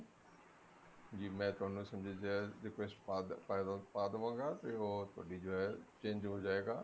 ਜੀ ਮੈਂ ਤੁਹਾਨੂੰ ਸਮਝਦਿਆ request ਪਾ ਪਾ ਦਵਾਂਗਾ or ਤੁਹਾਡੀ ਜੋ ਹੈ change ਹੋ ਜਾਏਗਾ